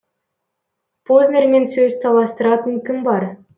познермен сөз таластыратын кім бар